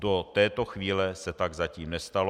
Do této chvíle se tak zatím nestalo.